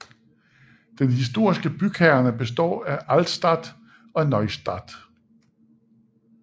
Den historiske bykerne består af Altstadt og Neustadt